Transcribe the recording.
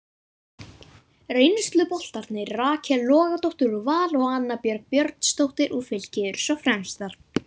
Reynsluboltarnir Rakel Logadóttir úr Val og Anna Björg Björnsdóttir úr Fylki eru svo fremstar.